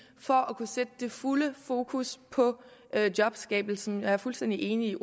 for at kunne sætte det fulde fokus på jobskabelsen jeg er fuldstændig enig